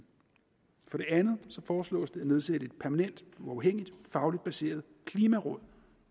for det andet foreslås det at nedsætte et permanent uafhængigt fagligt baseret klimaråd